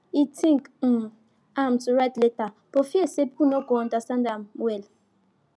he think um am to write letter but fear say people no go understand am well